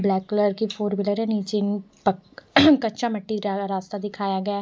Black colour की four wheeler है नीचे पक कच्चा मिट्टी रास्ता दिखाया गया है।